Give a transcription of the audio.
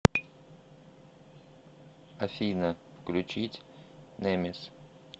афина включить немис